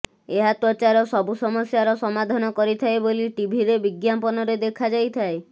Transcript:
ଏହା ତ୍ୱଚାର ସବୁ ସମସ୍ୟାର ସମାଧାନ କରିଥାଏ ବୋଲି ଟିଭିରେ ବିଜ୍ଞାପନରେ ଦେଖାଯାଇଥାଏ